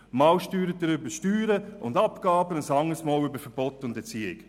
Einmal steuert er über Steuern und Abgaben, ein andermal über Verbote und Erziehung.